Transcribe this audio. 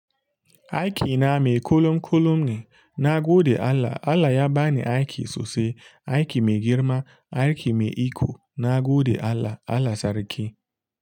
Aiki na mai kulum kulum ne, na gode Allah. Allah ya ba ni aiki sosai, aiki mai girma, aiki mai iko, na gode Allah. Allah sarki.